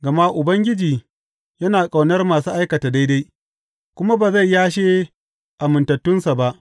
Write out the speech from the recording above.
Gama Ubangiji yana ƙaunar masu aikata daidai kuma ba zai yashe amintattunsa ba.